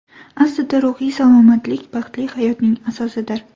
Aslida ruhiy salomatlik baxtli hayotning asosidir.